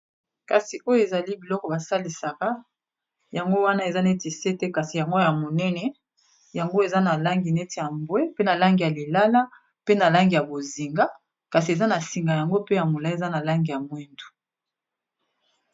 kasi oyo ezali biloko basalisaka yango wana eza neti sete kasi yangwo ya monene yango eza na langi neti ya mbwe pe na langi ya lilala pe na langi ya bozinga kasi eza na singa yango pe ya mola eza na langi ya mwindu